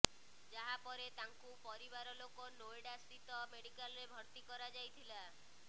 ଯାହାପରେ ତାଙ୍କୁ ପରିବାର ଲୋକ ନୋଏଡା ସ୍ଥିତ ମେଡିକାଲରେ ଭର୍ତ୍ତି କରାଯାଇଥିଲା